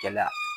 Kɛlɛya